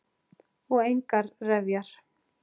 Og engar refjar.